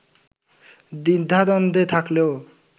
দ্বিধাদ্বন্দ্বে থাকলেও